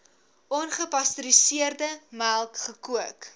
ongepasteuriseerde melk gekook